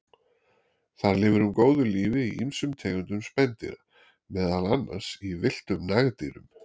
Þar lifir hún góðu lífi í ýmsum tegundum spendýra, meðal annars í villtum nagdýrum.